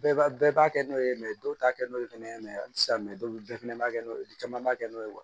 Bɛɛ b'a bɛɛ b'a kɛ n'o ye dɔw ta kɛ n'o ye fɛnɛ a ti se ka mɛ dɔw bɛɛ fɛnɛ b'a kɛ caman b'a kɛ n'o ye